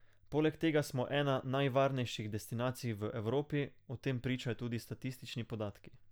Poleg tega smo ena najvarnejših destinacij v Evropi, o tem pričajo tudi statistični podatki.